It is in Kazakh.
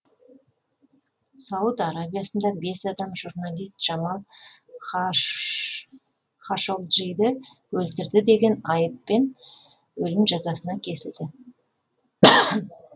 сауд арабиясында бес адам журналист жамал хашогджиді өлтірді деген айыппен өлім жазасына кесілді